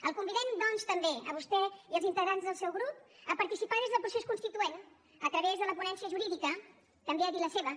el convidem doncs també a vostè i als integrants del seu grup a participar des del procés constituent a través de la ponència jurídica també a dir la seva